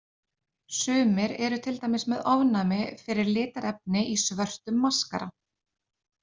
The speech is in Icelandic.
Sumir eru til dæmis með ofnæmi fyrir litarefni í svörtum maskara.